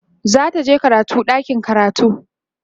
zataje karatu a ɗakin karatu